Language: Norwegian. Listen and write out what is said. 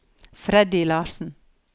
Freddy Larsen